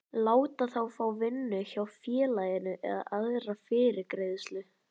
láta þá fá vinnu hjá félaginu eða aðra fyrirgreiðslu.